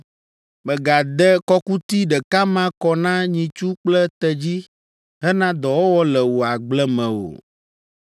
“Mègade kɔkuti ɖeka ma kɔ na nyitsu kple tedzi hena dɔwɔwɔ le wò agble me o.